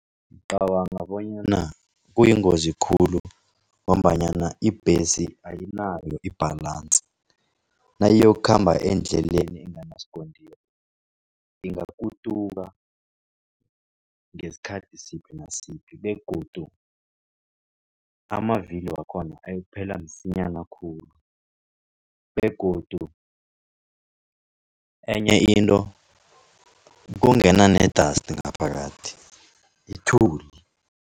Ngicabanga bonyana kuyingozi khulu ngombanyana ibhesi ayinayo i-balance. Nayiyokukhamba endleleni enganasikontiri ingakutuka, ngesikhathi siphi nasiphi begodu amavili wakhona ayokuphela msinyana khulu, begodu enye into kungena ne-dust ngaphakathi ithuli.